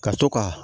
Ka to ka